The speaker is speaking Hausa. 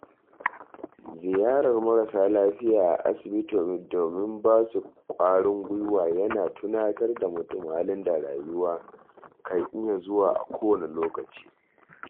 Ziyarar marasa lafiya a asibiti domin basu ƙwarin gwuiwa yana tunatar da mutum halin da rayuwa kan iya zuwa a kowane lokaci.